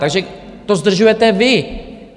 Takže to zdržujete vy.